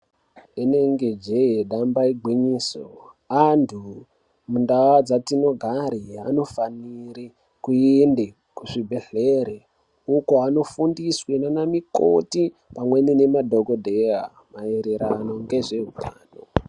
Inenge jee damba igwinyiso antu muntau dzatinogare anofanire kuende kuzvibhedhleri uko andofunsiswe ndiana mukoti nemadhokodheya maererano ngezveutano.